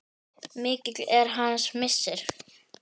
Mikill er hans missir.